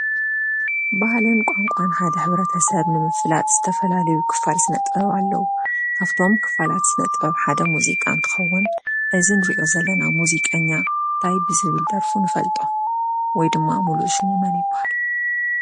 ባህልን ቋንቋን ሓደ ሕብረተሰብ ንምፍላጥ ዝተፈላለየ ክፋል ስነ ጥበብ ኣለው። ካብቶም ክፋላት ስነጥበብ ሓደ ሙዚቃ እንትኸውን እዝይ እንርእዮ ዘለና እውን ሙዚቀኛ እንታይ ብትብል ድርፉ ንፍልጦ? ወይ ድማ መን ይብሃል ሙሉእ ሹሙ?